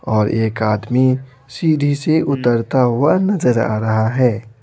और एक आदमी सीधी से उतरता हुआ नजर आ रहा है।